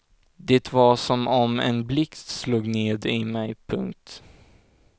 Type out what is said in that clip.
Det var som om en blixt slog ned i mig. punkt